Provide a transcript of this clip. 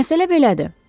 Məsələ belədir.